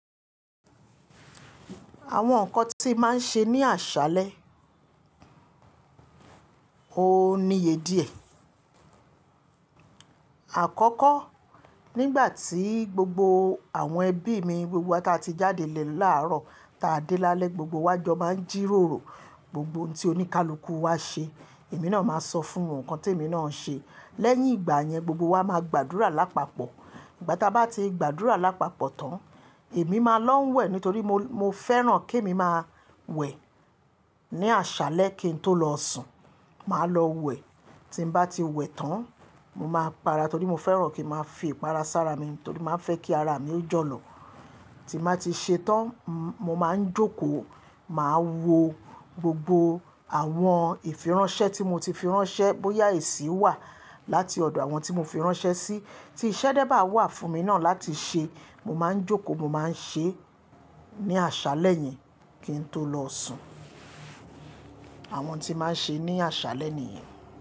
Àwọn nǹkan tí màá ṣe ní àṣálẹ́ ò níye díẹ̀. Àkọ́kọ́ nígbà tí gbogbo àwọn ẹbí mi gbogbo wa ta ti jáde lè láàárọ̀ ta dé lálẹ́ gbogbo wa jọ máa ń jíròrò gbogbo ohun tí oníkálukú wa ṣe èmi náà máa sọ fún òun nǹkan tí èmi náà ń ṣe. Lẹ́yìn ìgbà yẹn gbogbo wa máa gbàdúrà lápapọ̀. Ìgbà ta bá ti gbàdúrà lápapọ̀ tán, èmi máa lọ ń wẹ̀ nítorí mo, mo fẹ́ràn kí èmi máa wẹ̀ ní àṣálẹ́ kí n tó lọ sùn. Màá lọ wẹ̀ tí ń bá ti wẹ̀ tán mo máa para torí mo fẹ́ràn kí màá fi ìpara sára mi torí màá fẹ́ kí ara mi ó jọ̀lọ̀. Tí màá ti ṣe tán, mo máa ń jókòó, màá wo gbogbo àwọn ìfìránṣẹ́ tí mo ti firańṣẹ́ bóyá èsì wà láti ọ̀dọ̀ àwọn tí mo firańṣẹ́ sí. Tí iṣẹ́ dẹ́ bá wà fún mi náà láti ṣe, mo máa ń jókòó mo máa ń ṣe é ní àṣálẹ́ yẹn kí n tó lọ sùn. Àwọn tí màá ṣe ní àṣálẹ́ nìyẹn.